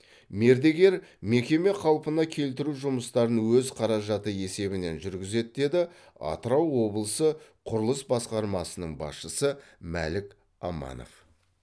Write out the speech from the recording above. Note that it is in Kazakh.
мердігер мекеме қалпына келтіру жұмыстарын өз қаражаты есебінен жүргізеді деді атырау облысы құрылыс басқармасының басшысы мәлік аманов